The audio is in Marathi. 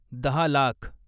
दहा लाख